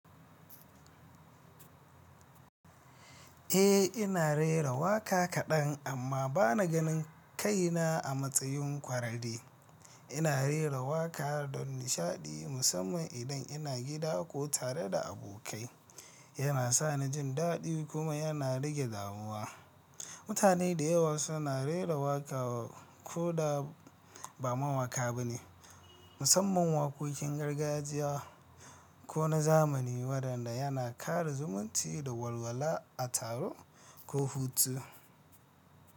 Eh, ina rera waƙa kaɗan, amma bana ganin kaina a matsayin ƙwararre. Ina rera waƙa don nishaɗi, musamman idan ina gida ko tare da abokai. Yana sani jin daɗi kuma yana rage damuwa. Mutane da yawa suna rera waƙa ko da ba mawaƙa ba ne, musamman waƙoƙin gargajiya ko na zamani waɗanda yana ƙara zumunci da walwala a taro ko hutu.